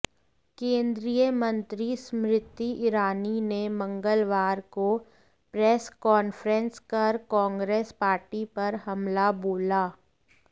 केंद्रीय मंत्री स्मृति ईरानी ने मंगलवार को प्रेस कांफ्रेंस कर कांग्रेस पार्टी पर हमला बोला